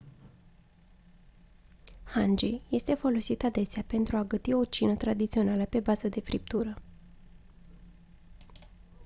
hangi este folosit adesea pentru a găti o cină tradițională pe bază de friptură